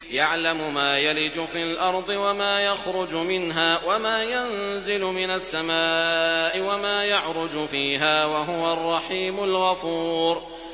يَعْلَمُ مَا يَلِجُ فِي الْأَرْضِ وَمَا يَخْرُجُ مِنْهَا وَمَا يَنزِلُ مِنَ السَّمَاءِ وَمَا يَعْرُجُ فِيهَا ۚ وَهُوَ الرَّحِيمُ الْغَفُورُ